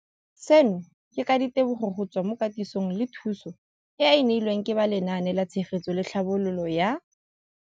Seno ke ka ditebogo go tswa mo katisong le thu song eo a e neilweng ke ba Lenaane la Tshegetso le Tlhabololo ya